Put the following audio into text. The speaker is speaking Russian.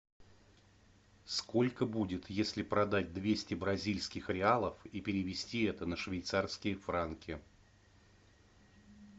сколько будет если продать двести бразильских реалов и перевести это на швейцарские франки